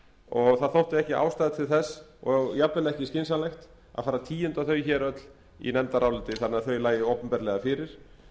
og það þótti ekki ástæða til þess og jafnvel ekki skynsamlegt að fara að tíunda þau öll hér í nefndaráliti þannig að þau lægju opinberlega fyrir